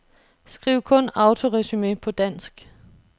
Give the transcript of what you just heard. Skriv kun autoresumé på dansk.